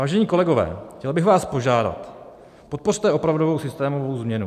Vážení kolegové, chtěl bych vás požádat, podpořte opravdu systémovou změnu.